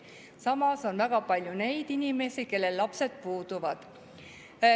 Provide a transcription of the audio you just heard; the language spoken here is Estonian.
Samas on väga palju neid inimesi, kellel lapsed puuduvad.